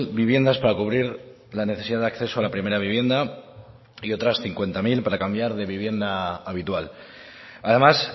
viviendas para cubrir la necesidad de acceso a la primera vivienda y otras cincuenta mil para cambiar de vivienda habitual además